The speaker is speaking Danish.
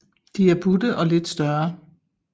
De er butte og lidt større